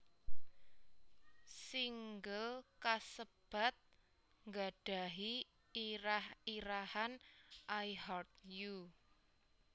Singel kasebat nggadhahi irah irahan I Heart You